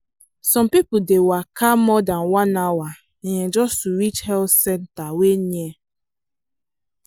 some people dey waka more than one hour um just to reach health centre wey near.